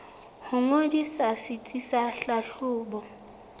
ho ngodisa setsi sa tlhahlobo